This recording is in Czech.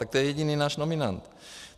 Tak to je jediný náš nominant.